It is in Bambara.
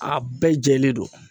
A bɛɛ jɛlen don